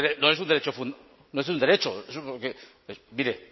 no es un derecho mire